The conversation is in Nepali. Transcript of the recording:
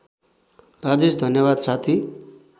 राजेश धन्यवाद साथी